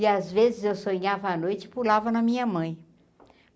E às vezes eu sonhava a noite e pulava na minha mãe.